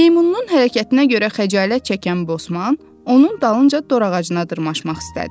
Meymununun hərəkətinə görə xəcalət çəkən Bosman, onun dalınca dor ağacına dırmaşmaq istədi.